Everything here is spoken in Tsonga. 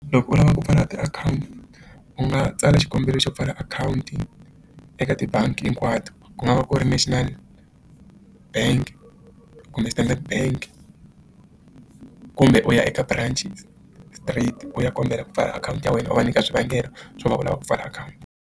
Loko u lavaka ku pfala tiakhawunti u nga tsala xikombelo xo pfala akhawunti eka tibangi hinkwato ku nga va ku ri National bank kumbe Standard bank kumbe u ya eka branch straight u ya kombela ku pfala akhawunti ya wena u va nyika swivangelo swo va u lava ku pfala akhawunti.